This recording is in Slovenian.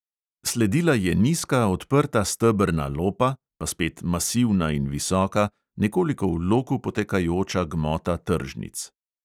Sledila je nizka odprta stebrna lopa, pa spet masivna in visoka, nekoliko v loku potekajoča gmota tržnic.